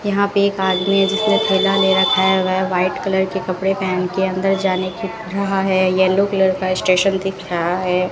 यहां पे एक आदमी है जिसने थैला ले रखा है वह व्हाइट कलर के कपड़े पहन के अंदर जाने की रहा है येलो कलर का स्टेशन दिख रहा है।